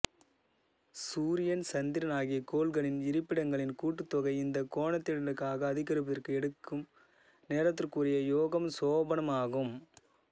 சூரியன் சந்திரன் ஆகிய கோள்களின் இருப்பிடங்களின் கூட்டுத்தொகை இந்தக் கோணத்தினூடாக அதிகரிப்பதற்கு எடுக்கும் நேரத்துக்குரிய யோகம் சோபனம் ஆகும்